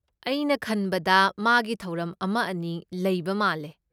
ꯑꯩꯅ ꯈꯟꯕꯗ ꯃꯥꯒꯤ ꯊꯧꯔꯝ ꯑꯃ ꯑꯅꯤ ꯂꯩꯕ ꯃꯥꯜꯂꯦ꯫